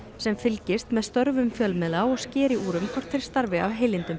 sem fylgist með störfum fjölmiðla og skeri úr um hvort þeir starfi af heilindum